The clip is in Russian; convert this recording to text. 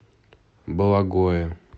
бологое